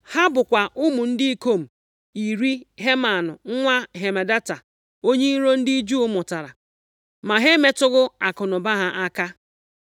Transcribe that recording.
ha bụkwa ụmụ ndị ikom iri Heman nwa Hamedata, onye iro ndị Juu mụtara. Ma ha emetụghị akụnụba ha aka.